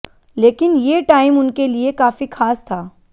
लेकिन ये टाइम उनके लिए काफी खास था